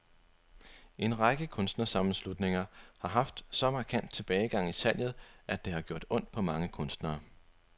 En række kunstnersammenslutninger har haft en så markant tilbagegang i salget, at det har gjort ondt på mange kunstnere.